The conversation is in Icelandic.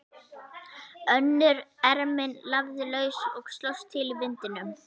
Önnur ermin lafði laus og slóst til í vindinum.